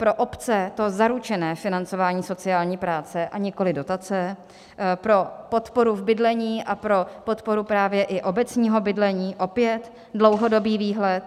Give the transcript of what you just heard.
Pro obce to zaručené financování sociální práce, a nikoliv dotace, pro podporu v bydlení a pro podporu právě i obecního bydlení opět dlouhodobý výhled.